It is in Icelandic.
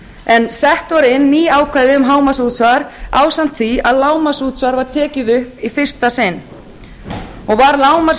en sett voru inn ný ákvæði um hámarksútsvar ásamt því að lágmarksútsvar var tekið upp í fyrsta sinn var